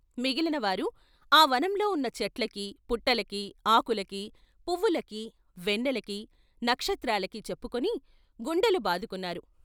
మిగిలినవారు ఆవనంలో ఉన్న చెట్లకీ, పుట్టలకీ, ఆకులకీ, పువ్వులకీ, వెన్నెలకీ, నక్షత్రాలకీ చెప్పుకుని గుండెలు బాదుకున్నారు.